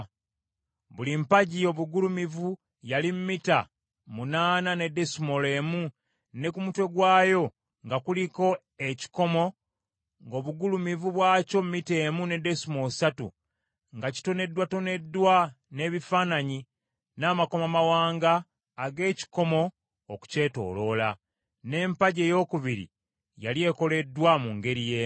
Buli mpagi obugulumivu yali mita munaana ne desimoolo emu ne ku mutwe gwayo nga kuliko ekikomo ng’obugulumivu bwakyo mita emu ne desimoolo ssatu, nga kitoneddwatoneddwa n’ebifaananyi n’amakomamawanga ag’ekikomo okukyetooloola. N’empagi eyookubiri yali ekoleddwa mu ngeri y’emu.